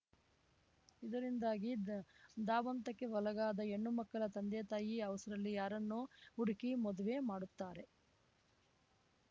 ಇದರಿಂದಾಗಿ ದ್ ಧಾವಂತಕ್ಕೆ ಒಳಗಾದ ಹೆಣ್ಣು ಮಕ್ಕಳ ತಂದೆ ತಾಯಿ ಅವಸರಲ್ಲಿ ಯಾರನ್ನೋ ಹುಡುಕಿ ಮದುವೆ ಮಾಡುತ್ತಾರೆ